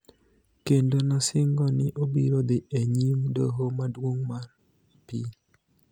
kendo nosingo ni obiro dhi e nyim Doho Maduong� mar Apil.